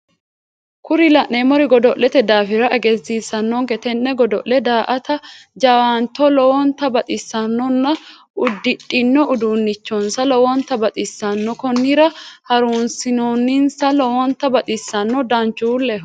Kuni la'neemmori godo'lete daafira egensiissanonke tenne godo'le daa'atate jawaantto lowontta baxxissannona uddidhino uduunichinsano lowontta baxissanno konnira harunsinonsa lowonta baxxissanno danchuulleho